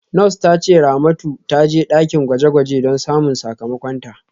Nurse ta ce Ramatu ta je dakin gwaje-gwaje don samun sakamakonta.